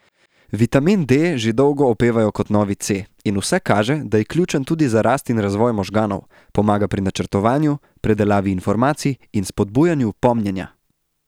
Vitamin D že dolgo opevajo kot novi C, in vse kaže, da je ključen tudi za rast in razvoj možganov, pomaga pri načrtovanju, predelavi informacij in spodbujanju pomnjenja.